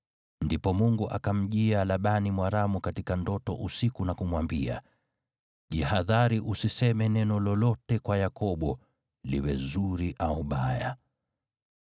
Ndipo Mungu akamjia Labani Mwaramu katika ndoto usiku na kumwambia, “Jihadhari usiseme neno lolote kwa Yakobo, liwe zuri au baya.”